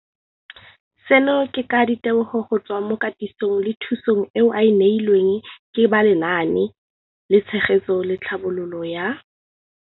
Seno ke ka ditebogo go tswa mo katisong le thu song eo a e neilweng ke ba Lenaane la Tshegetso le Tlhabololo ya